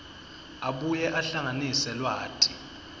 abuye ahlanganise lwati